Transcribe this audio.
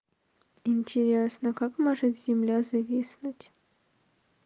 интересно как может земля зависнуть